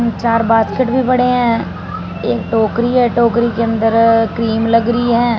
चार बास्केट भी पड़े हैं एक टोकरी है टोकरी के अंदर क्रीम लग रही है।